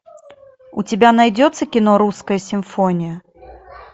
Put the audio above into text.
у тебя найдется кино русская симфония